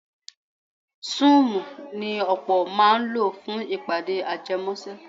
Súùmù ni ọ̀pọ̀ máa ń lò fún ìpàdé ajẹmọ́ṣẹ́.